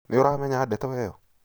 Nĩũramenya ndeto ĩyo?